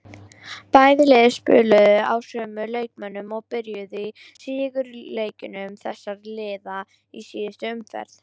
Bæði lið spiluðu á sömu leikmönnum og byrjuðu í sigurleikjum þessara liða í síðustu umferð.